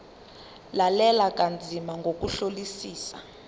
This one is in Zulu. lalela kanzima ngokuhlolisisa